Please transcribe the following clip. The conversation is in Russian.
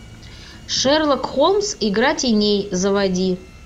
шерлок холмс игра теней заводи